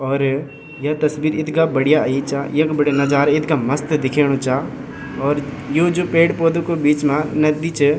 और ये या तस्वीर इत्गा बढ़िया अई चा यख बिटि नजारा इत्गा मस्त दिखेणु चा और यु जू पेड़ पौधा कु बीच मा नदी च --